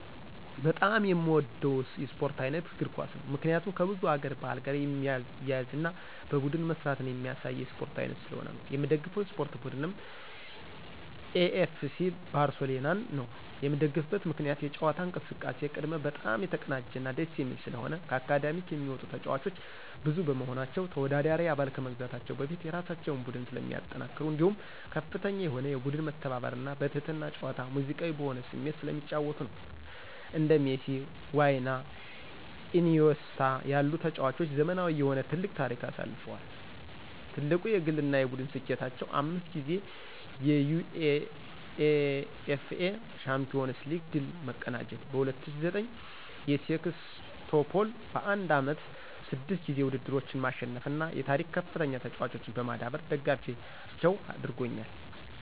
በጣም የምወደው የስፖርት ዓይነት እግር ኳስ ነው። ምክንያቱም ከብዙ ሀገር ባህል ጋር የሚያያዝና በቡድን መስራትን የሚያሳይ የስፖርት ዓይነት ስለሆነ ነው። የምደግፈው የስፖርት ቡድንም ኤፍሲ ባርሴሎናን ነዉ። የምደግፍበት ምክንያትም የጨዋታ እንቅስቃሴ ቅድመ በጣም የተቀናጀና ደስ የሚል ስለሆነ፣ ከአካዳሚክ የሚወጡ ተጫዋቾች ብዙ በመሆናቸው፣ ተወዳዳሪ አባል ከመግዛታቸው በፊት የራሳቸውን ቡድን ስለሚያጠናክሩ እንዲሁም ከፍተኛ የሆነ የቡድን መተባበርና በትህትና ጨዋታ ሙዚቃዊ በሆነ ስሜት ስለሚጫወቱ ነዉ። እንደ ሜሲ፣ ዋይና ኢኒዬስታ ያሉ ተጫዋቾች ዘመናዊ የሆነ ትልቅ ታሪክ አሳልፈዋል። ትልቁ የግልና የቡድን ስኬታቸውም 5 ጊዜ የዩኢኤፍኤ ሻምፒዮንስ ሊግ ድል መቀዳጀት፣ በ2009 የሴክስቶፖል በአንድ ዓመት 6 ጊዜ ውድድሮችን ማሸነፍና የታሪክከፍተኛ ተጫዋቾችን በማዳበር ደጋፊያቸው አድርጎኛል።